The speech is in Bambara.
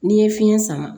N'i ye fiɲɛ sama